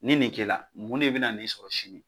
Nin d kɛla, mun de bɛ n'i sɔrɔ sini?